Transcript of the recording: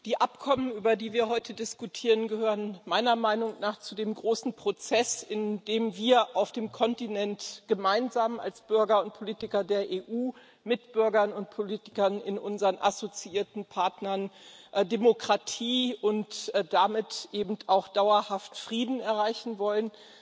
Herr Präsident! Die Abkommen, über die wir heute diskutieren, gehören meiner Meinung nach zu dem großen Prozess, in dem wir auf dem Kontinent gemeinsam als Bürger und Politiker der EU mit Bürgern und Politikern in unseren assoziierten Partnern Demokratie und damit eben auch dauerhaft Frieden erreichen wollen.